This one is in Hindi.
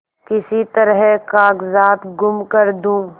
किसी तरह कागजात गुम कर दूँ